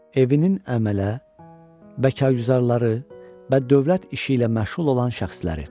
Evinin əmələ, bəkarguzarları və dövlət işi ilə məşğul olan şəxsləri.